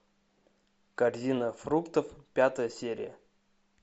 корзина фруктов пятая серия